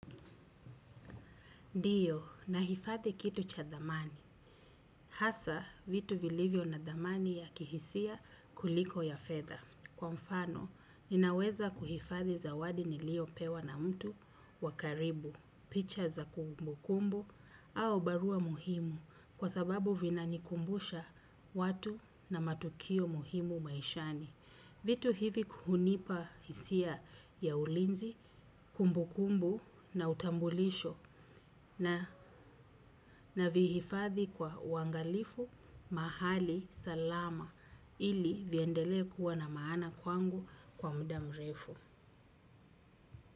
Ndiyo, nahifadhi kitu cha thamani. Hasa, vitu vilivyo na thamani ya kihisia kuliko ya fedha. Kwa mfano, ninaweza kuhifadhi zawadi niliyopewa na mtu wa karibu. Picha za kumbukumbu au barua muhimu kwa sababu vinanikumbusha watu na matukio muhimu maishani. Vitu hivi hunipa hisia ya ulinzi, kumbukumbu na utambulisho, na navihifadhi kwa uangalifu mahali salama ili viendelee kuwa na maana kwangu kwa muda mrefu.